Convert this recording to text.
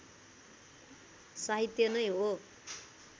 साहित्य नै हो